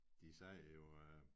De sagde jo øh